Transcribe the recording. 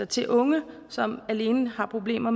til unge som alene har problemer